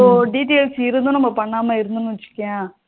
details இருந்து நம்ம பண்ணாம இருந்தோம்னு வச்சுக்கோயேன்